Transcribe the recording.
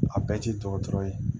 A bɛɛ ti dɔgɔtɔrɔ ye